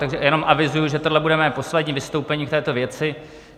Takže jenom avizuji, že tohle bude mé poslední vystoupení v této věci